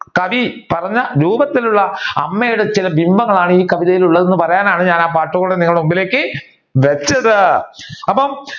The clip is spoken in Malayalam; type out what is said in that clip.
കവി പറഞ്ഞ രൂപത്തിലുള്ള അമ്മയുടെ ചില ഭിംഭങ്ങളാണ് ഈ കവിതയിൽ ഉള്ളത് എന്ന് പറയാനാണ്‌ ഞാൻ ആ പാട്ട് നിങ്ങളുടെ മുൻപിലേക്ക് വെച്ചത് അപ്പൊ